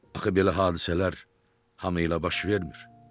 Axı belə hadisələr hamı ilə baş vermir.